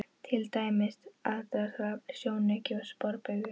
Til dæmis: aðdráttarafl, sjónauki og sporbaugur.